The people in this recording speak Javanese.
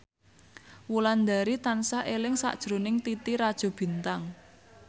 Wulandari tansah eling sakjroning Titi Rajo Bintang